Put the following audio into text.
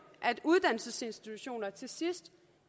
at uddannelsesinstitutioner til sidst